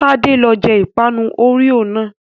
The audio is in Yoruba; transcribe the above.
Tádé ló jẹ ìpanu Oreo náà.